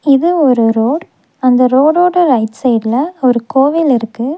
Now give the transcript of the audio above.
இது ஒரு ரோட் அந்த ரோடோட ரைட் சைடுல ஒரு கோவில் இருக்கு.